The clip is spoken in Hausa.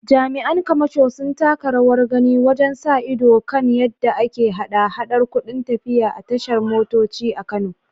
Jami’an kamasho sun taka rawar gani wajen sa ido kan yadda ake haɗa-haɗar kudin tafiya a tashar motoci a Kano.